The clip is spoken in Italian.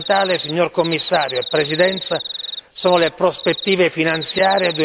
Fondamentali, signor Commissario e Presidenza, sono le prospettive finanziarie